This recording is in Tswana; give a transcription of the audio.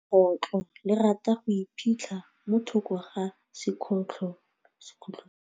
Legôtlô le rata go iphitlha mo thokô ga sekhutlo sa phaposi.